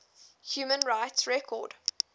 human rights record